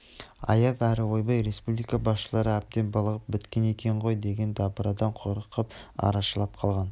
аяп әрі ойбай республика басшылары әбден былығып біткен екен ғой деген дабырадан қорқып арашалап қалған